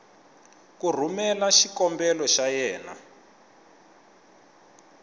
ku rhumela xikombelo xa yena